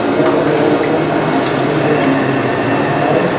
eyang o jaga nog mang ka ang kopor colour ni bus bai.